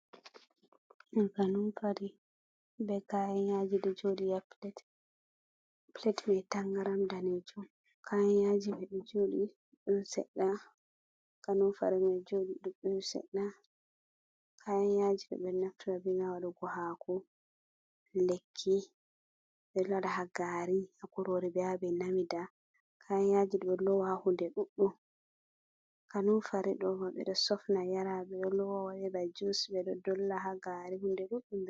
Ka nunfari be kayayaji do jodi a plat mai tangaram dane jum kayanyaji be jodi dum sedda ka numfari ma jodi ɗuɗɗum sedda kayayajidobe naftura binalugo haku lekki be loda hagari a kurore beabe namida kayayajidodo lowa hude duɗɗum ka numfari domaide sofna yarabedo lowwadeba jus be do dolla hagari hunde ɗuɗɗum